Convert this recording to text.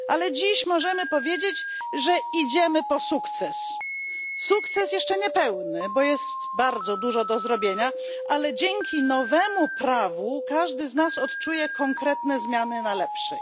Dziś możemy powiedzieć, że idziemy po sukces, sukces jeszcze niepełny, bo jest bardzo dużo do zrobienia, ale dzięki nowemu prawu każdy z nas odczuje konkretne zmiany na lepsze.